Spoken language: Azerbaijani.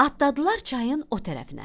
Atladılar çayın o tərəfinə.